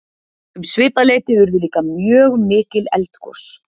Um svipað leyti urðu líka mjög mikil eldgos.